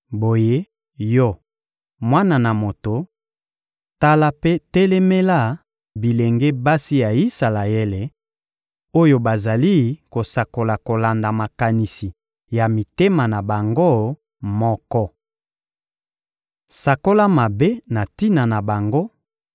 Boye, yo, mwana na moto, tala mpe telemela bilenge basi ya Isalaele, oyo bazali kosakola kolanda makanisi ya mitema na bango moko! Sakola mabe na tina na bango